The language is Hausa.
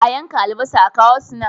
A yanka albasa a kawo su nan.